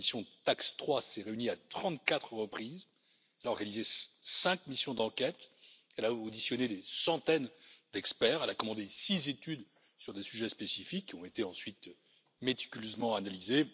La commission TAX3 s'est réunie à trente quatre reprises, a réalisé cinq missions d'enquête, a auditionné des centaines d'experts et a commandé six études sur des sujets spécifiques, qui ont été ensuite méticuleusement analysés.